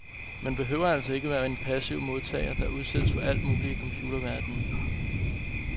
Man behøver altså ikke at være en passiv modtager, der udsættes for alt muligt i computerverdenen.